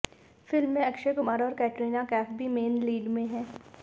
film में अक्षय कुमार और कैटरीना कैफ भी मेन लीड में हैं